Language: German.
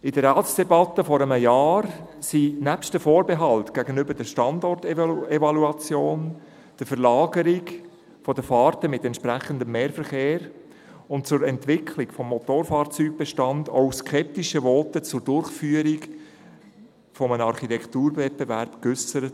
In der Ratsdebatte vor einem Jahr wurden nebst den Vorbehalten gegenüber der Standortevaluation, der Verlagerung der Fahrten mit entsprechendem Mehrverkehr und der Entwicklung des Motorfahrzeugbestandes auch skeptische Voten zur Durchführung eines Architekturwettbewerbs geäussert.